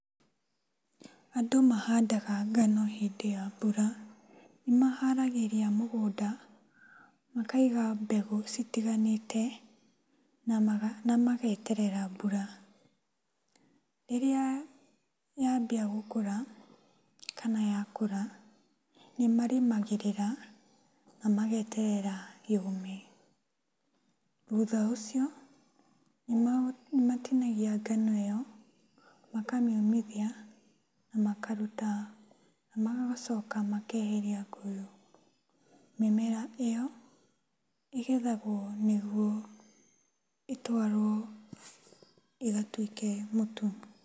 Andũ mahandaga ngano hĩndĩ ya mbura, maharagĩria mũgũnda, makaiga mbegũ citiganĩte na mageterera mbura. Rĩrĩa yambia gũkũra kana yakũra, nĩmarĩmagĩrĩra na mageterera yũme. Thutha ũcio, nĩmatinagia ngano ĩo, makamĩũmithia na makaruta, magacoka makeheria mĩmera ĩyo, ĩgethagwo nĩguo ĩtwarũo ĩgatuĩke mũtu.